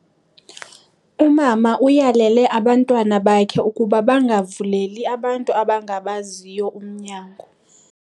Umama uyalele abantwana bakhe ukuba bangavuleli abantu abangabaziyo umnyango.